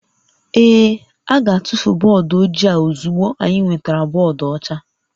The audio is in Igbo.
Ee, a ga-atụfu bọọdụ ojii a ozugbo anyị nwetara bọọdụ ọcha